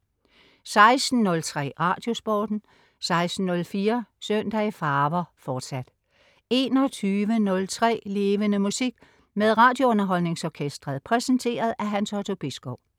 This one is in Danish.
16.03 Radiosporten 16.04 Søndag i farver, fortsat 21.03 Levende Musik. Med RadioUnderholdningsOrkestret. Præsenteret af Hans Otto Bisgaard